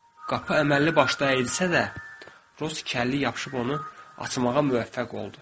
Qapı əməlli başlı əyilsə də, Rus kəlliyə yapışıb onu açmağa müvəffəq oldu.